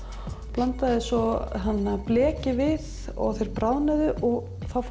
blandaði svo bleki við og þeir bráðnuðu og þá